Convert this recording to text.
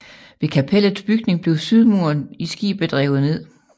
Ved kapellets bygning blev sydmuren i skibet revet ned